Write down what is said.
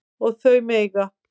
Og þau mega